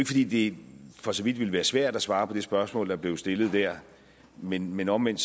fordi det for så vidt ville være svært at svare på det spørgsmål der blev stillet dér men men omvendt